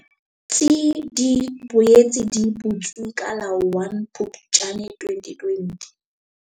tsi di boetse di butswe ka la 1 Phuptjane 2020.